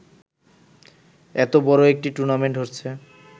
এতো বড় একটি টুর্নামেন্ট হচ্ছে